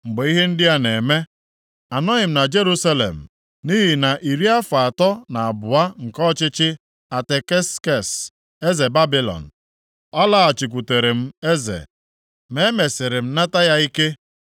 Mgbe ihe ndị a na-eme, anọghị m na Jerusalem, nʼihi na nʼiri afọ atọ na abụọ nke ọchịchị Ataksekses, eze Babilọn, + 13:6 Sairọs nyere onwe ya aha a, bụ Eze Babilọn, mgbe o meriri ndị Babilọn nʼagha. a lọghachikwutere m eze. Ma e mesịrị m nata ya ike